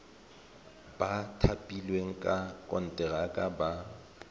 ba thapilweng ka konteraka ba